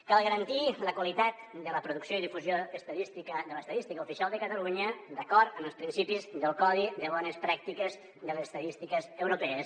cal garantir la qualitat de la producció i difusió estadística de l’estadística oficial de catalunya d’acord amb els principis del codi de bones pràctiques de les estadístiques europees